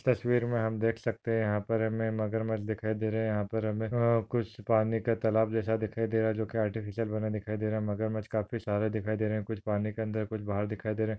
तस्वीर मे हम देख सकते है यहाँ पर हमे मगरमछ दिखाई दे रहे यहाँ पर हमे अ कुछ पानीका तलाब जैसा दिखाई दे रहा जोकि आर्टिफ़िशियल बना दिखाई दे रहा मगरमछ काफी सारे दिखाई दे रहे कुछ पानी के अंदर कुछ बाहर दिखाई दे रहे।